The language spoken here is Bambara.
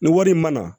Ni wari in ma na